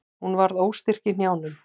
Hún varð óstyrk í hnjánum.